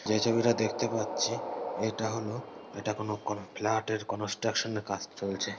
যে ছবিটা দেখতে পাচ্ছি ইটা হলো এটা কোনো এটা কোন ফ্ল্যাট -এর কনস্ট্রাকশন -এর কাজ চলছে।